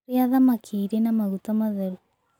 Rĩa thamakĩ ĩrĩ na magũta matherũ